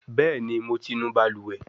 Bẹẹni, Mo ti nu baluwe